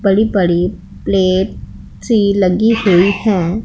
बड़ी बड़ी प्लेट सी लगी हुई हैं।